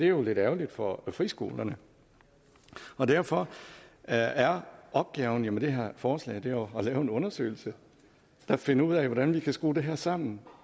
jo lidt ærgerligt for friskolerne derfor er er opgaven med det her forslag jo at lave en undersøgelse der finder ud af hvordan vi kan skrue det her sammen